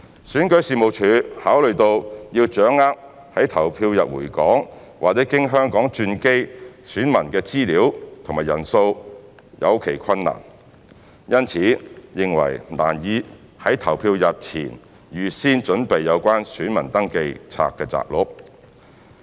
選舉事務處考慮到要掌握在投票日回港或經香港轉機的選民的資料及人數有其困難。因此認為難以在投票日前預先準備有關選民登記冊摘錄。